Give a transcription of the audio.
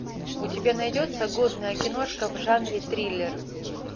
у тебя найдется годная киношка в жанре триллер